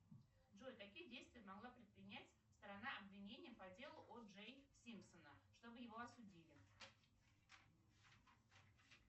джой какие действия могла предпринять сторона обвинения по делу о джей симпсона чтобы его осудили